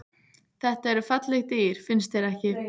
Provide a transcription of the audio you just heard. Þetta eru falleg dýr, finnst þér ekki?